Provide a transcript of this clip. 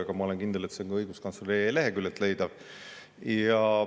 Aga ma olen kindel, et see on ka oiguskantsler.ee leheküljelt leitav.